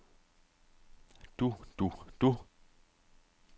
du du du